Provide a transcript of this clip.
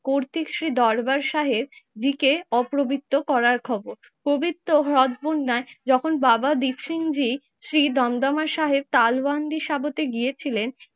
কর্তৃক শ্রী দরবার সাহেব দিকে অপবিত্র করার খবর। পবিত্র হ্রদ বুন্নাই যখন বাবা দীপসিং জি শ্রী দমদমা সাহেব কালওয়ান্ডি সাবতে গিয়েছিলেন